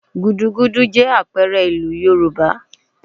Gúdúgúdú jẹ́ àpẹẹrẹ ìlú Yorùbá